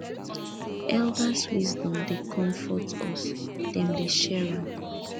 elders wisdom dey comfort us dem dey share am